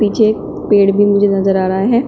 पीछे पेड़ भी मुझे नजर आ रहा है।